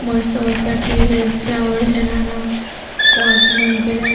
મસ્ત મસ્ત trees flower છે નાના પોટ માં મુકેલા--